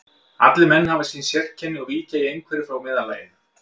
Allir menn hafa sín séreinkenni og víkja í einhverju frá meðallaginu.